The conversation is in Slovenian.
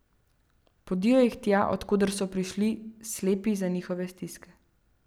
Podijo jih tja, od koder so prišli, slepi za njihove stiske.